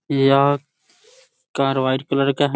यह car white colour का है ।